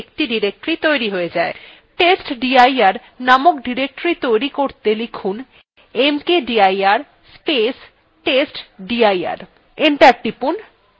testdir named directory তৈরী করতে লিখুন mkdir space testdir enter টিপুন